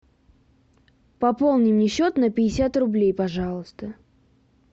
пополни мне счет на пятьдесят рублей пожалуйста